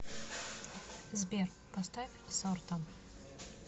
сбер поставь сорта